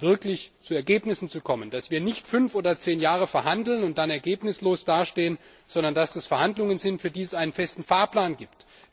wirklich zu Ergebnissen zu kommen, dass wir nicht fünf oder zehn Jahre verhandeln und dann ergebnislos dastehen, sondern dass das Verhandlungen sind, für die es einen festen Fahrplan gibt.